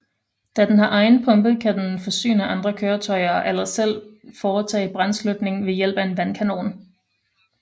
Da den har egen pumpe kan den forsyne andre køretøjer eller selv foretage brandslukning ved hjælp af en vandkanon